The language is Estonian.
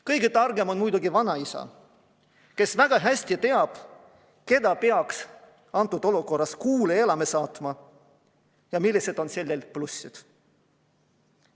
Kõige targem on muidugi vanaisa, kes väga hästi teab, kelle peaks antud olukorras kuule elama saatma ja millised on selle plussid.